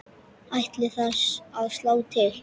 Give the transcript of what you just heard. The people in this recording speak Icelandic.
Ætlið þið að slá til?